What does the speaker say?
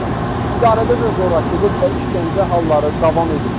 İdarədə də zorakılıq və işgəncə halları davam edib.